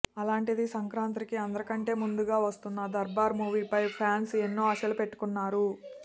అలాంటిది సంక్రాంతికి అందరికంటే ముందే వస్తున్న దర్బార్ మూవీపై ఫ్యాన్స్ ఎన్నో ఆశలు పెట్టుకున్నారు